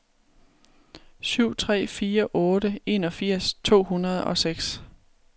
syv tre fire otte enogfirs to hundrede og seks